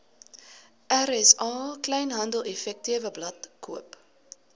rsa kleinhandeleffektewebblad koop